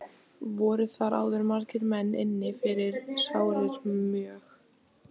Voru þar áður margir menn inni fyrir sárir mjög.